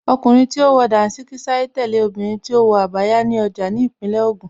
Ọkùnrin tí ó wọ Dàńṣíkí sáré tẹ̀lé obìnrin tí ó wọ Abaya ní ọjà ní Ìpínlẹ̀ Ògùn